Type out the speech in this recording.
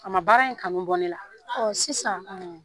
A ma baara in kanu bɔ ne la. ɔ sisan